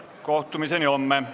Kohtumiseni homme!